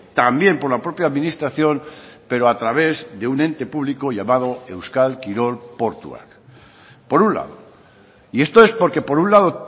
también por la propia administración pero a través de un ente público llamado euskal kirol portuak por un lado y esto es porque por un lado